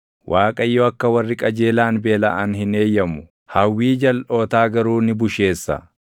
Waaqayyo akka warri qajeelaan beelaʼan hin eeyyamu; hawwii jalʼootaa garuu ni busheessa.